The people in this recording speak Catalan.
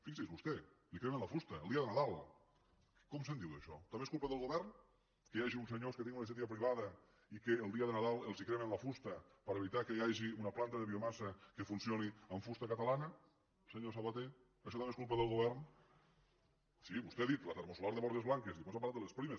fixi’s vostè li cremen la fusta el dia de nadal com se’n diu d’això també és culpa del govern que hi hagi uns senyors que tinguin una iniciativa privada i que el dia de nadal els cremen la fusta per evitar que hi hagi una planta de biomassa que funcioni amb fusta catalana senyor sabaté això també és culpa del govern sí vostè ha dit la termosolar de borges blanques i després ha parlat de les primes